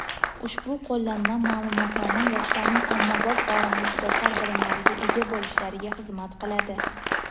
Ushbu qo‘llanma-ma’lumotnoma yoshlarning ommabop va muxtasar bilimlarga ega bo‘lishlariga xizmat qiladi.